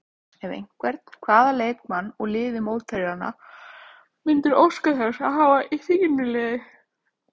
Ef einhvern, hvaða leikmann úr liði mótherjanna myndirðu óska þess að hafa í þínu liði?